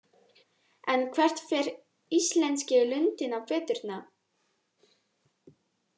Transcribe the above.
En hvert fer íslenski lundinn á veturna?